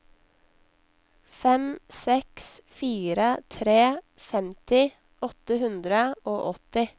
fem seks fire tre femti åtte hundre og åtti